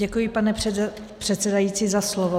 Děkuji, pane předsedající za slovo.